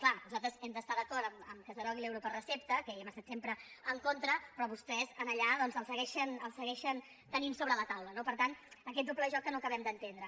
clar nosaltres hem d’estar d’acord amb el fet que es derogui l’euro per recepta que hi hem estat sempre en contra però vostès allà el segueixen tenint sobre la taula no per tant aquest doble joc que no acabem d’entendre